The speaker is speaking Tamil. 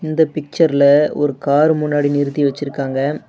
இந்த பிச்சர்ல ஒரு கார் முன்னாடி நிறுத்தி வெச்சி இருக்காங்க.